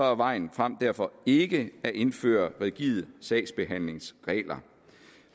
er vejen frem derfor ikke at indføre rigide sagsbehandlingsregler